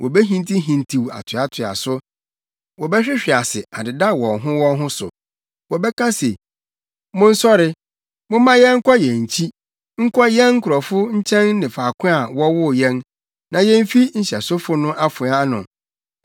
Wobehintihintiw atoatoa so; wɔbɛhwehwe ase adeda wɔn ho wɔn ho so. Wɔbɛka se, ‘Monsɔre, momma yɛnkɔ yɛn nkyi nkɔ yɛn nkurɔfo nkyɛn ne faako a wɔwoo yɛn, na yemfi nhyɛsofo no afoa ano.’